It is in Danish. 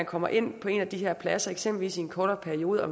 kommer ind på en af de her pladser eksempelvis i en kortere periode og